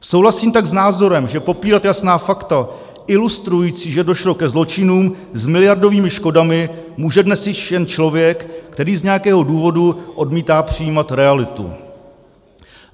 Souhlasím tak s názorem, že popírat jasná fakta ilustrující, že došlo ke zločinům s miliardovými škodami, může dnes již jen člověk, který z nějakého důvodu odmítá přijmout realitu.